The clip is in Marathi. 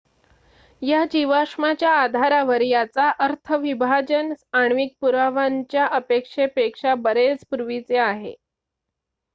"""या जीवाश्माच्या आधारावर याचा अर्थ विभाजन आण्विक पुराव्यांच्या अपेक्षेपेक्षा बरेच पूर्वीचे आहे.